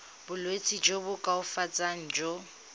bolwetsi jo bo koafatsang jo